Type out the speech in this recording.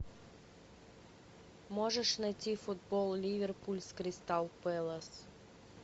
можешь найти футбол ливерпуль с кристал пэлас